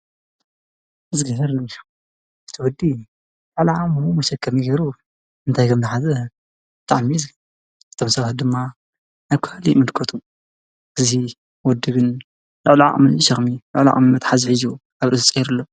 እቲ ወዲ እቲ ቆልዓ ከምዙይ ገይሩ እንታይ ከም ዝሓዘ ብተወሳኪ ድማ ካሊእ ይምልከቱ እዚ ወዲ ልዕሊ ዓቅሙ ሸክሚ ፣ልዕሊ ዓቅሚ መትሓዚ ሒዙ ኣብ ርእሱ ገይሩ ኣሎ።